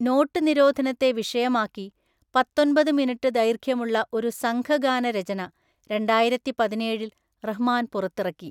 Not നിരോധനത്തെ വിഷയമാക്കി പത്തൊന്‍പത് മിനുട്ട് ദൈർഘ്യമുള്ള ഒരു സംഘഗാനരചന രണ്ടായിരത്തിപതിനേഴില്‍ റഹ്‌മാൻ പുറത്തിറക്കി.